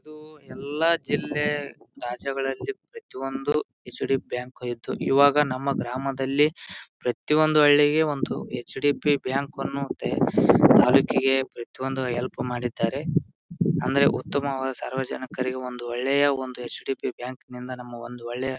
ಇದು ಎಲ್ಲಾ ಜಿಲ್ಲೆ ರಾಜ್ಯಗಳಲ್ಲಿ ಪ್ರತಿಯೊಂದು ಹೆಚ್.ಡಿ. ಬ್ಯಾಂಕ್ ಇದ್ದು ಈವಾಗ ನಮ್ಮ ಗ್ರಾಮದಲ್ಲಿ ಪ್ರತಿಯೊಂದು ಹಳ್ಳಿಗೆ ಒಂದು ಹೆಚ್.ಡಿ.ಪಿ. ಬ್ಯಾಂಕ್ ಅನ್ನು ನೋಡತ್ತೆ. ತಾಲ್ಲೂಕಿಗೆ ಪ್ರತಿಯೊಂದು ಹೆಲ್ಪ್ ಮಾಡಿದ್ದಾರೆ ಅಂದ್ರೆ ಉತ್ತಮವಾದ ಸಾರ್ವಜನಿಕರಿಗೆ ಒಂದು ಒಳ್ಳೆಯ ಹೆಚ್.ಡಿ.ಪಿ. ಬ್ಯಾಂಕ್ ನಿಂದ ನಮ್ಮ ಒಂದು ಒಳ್ಳೆಯ--